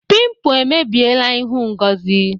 Pimpụ emebiela ịhụ Ngozi.